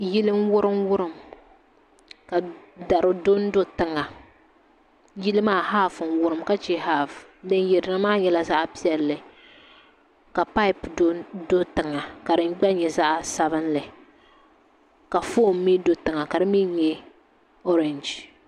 Yili n wurim wurim ka dari dondo tiŋa yili maa haaf n wurim ka chɛ haaf din yirina maa nyɛla zaɣ piɛlli ka paip do tiŋa ka di gba nyɛ zaɣ sabinli ka foon mii do tiŋa ka di mii nyɛ orɛnji